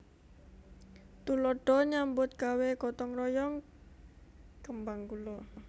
Tuladha nyambut gawé gotong royong kembang gula